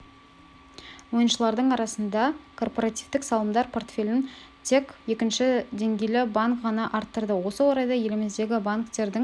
ойыншылардың арасында корпоративтік салымдар портфелін тек екінші деңгейлі банк ғана арттырды осы орайда еліміздегі банктердің